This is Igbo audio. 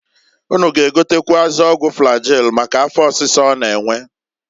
Unu g'egotekwuazi ọgwụ flagil maka afọ ọsịsa ọ na-enwe.